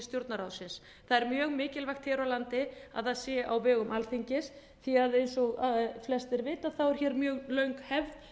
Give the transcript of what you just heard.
stjórnarráðsins það er mjög mikilvægt hér á landi að það sé á vegum alþingis því eins og flestir vita er hér mjög löng hefð